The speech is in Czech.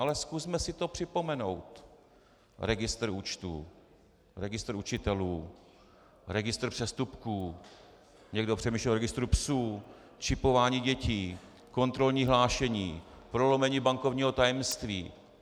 Ale zkusme si to připomenout - registr účtů, registr učitelů, registr přestupků, někdo přemýšlel o registru psů, čipování dětí, kontrolní hlášení, prolomení bankovního tajemství.